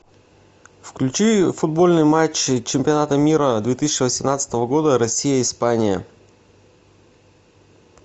включи футбольный матч чемпионата мира две тысячи восемнадцатого года россия испания